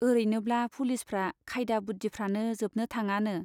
औरैनोब्ला पुलिसफ्रा खायदा बुद्दिफ्रानो जोबनो थाङानो।